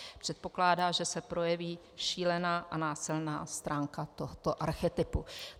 Předpokládá, že se projeví šílená a násilná stránka tohoto archetypu.